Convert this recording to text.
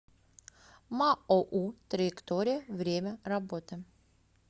маоу траектория время работы